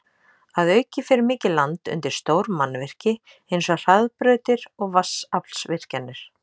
Að auki fer mikið land undir stór mannvirki eins og hraðbrautir og vatnsaflsvirkjanir.